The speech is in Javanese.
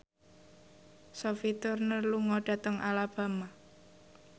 Sophie Turner lunga dhateng Alabama